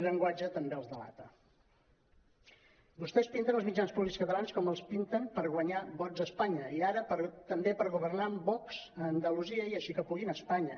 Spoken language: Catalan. vostès pinten els mitjans públics catalans com els pinten per guanyar vots a es·panya i ara també per governar amb vox a andalusia i així que puguin a espa·nya